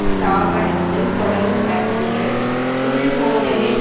ஸ்தாபனத்தில் தொடரும் அரசியல் உள்மோதலில்